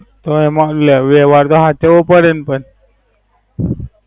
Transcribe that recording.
તો અમારેય લે વેલા રાહ જોવુ પડે ન પણ.